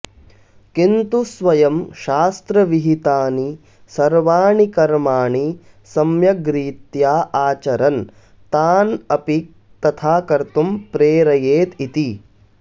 किन्तु स्वयं शास्त्रविहितानि सर्वाणि कर्माणि सम्यग्रीत्या आचरन् तान् अपि तथा कर्तुं प्रेरयेदिति